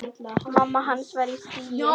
Mamma hans var í fríi.